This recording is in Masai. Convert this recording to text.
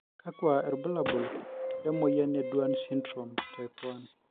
kakua irbulabol le moyian e Duane syndrome type 1?